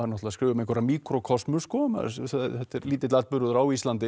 að skrifa um einhverja míkrókosmu sko þetta er lítill atburður á Íslandi